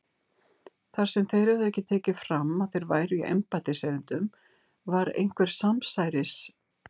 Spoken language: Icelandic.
Þar sem þeir höfðu ekki tekið fram að þeir væru í embættiserindum var einhver samsæris